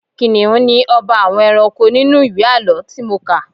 Kìnnìún ni ọba àwọn ẹranko nínú ìwé àlọ́ tí mo kà.